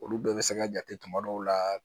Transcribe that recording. Olu bɛɛ bɛ se ka jate tuma dɔw la